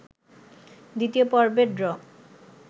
২য় পর্বের ড্র